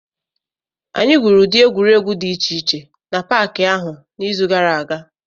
Anyị gwuru ụdị egwuregwu dị iche iche n'Paakị ahụ n'izu gara aga